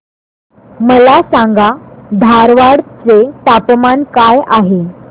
मला सांगा धारवाड चे तापमान काय आहे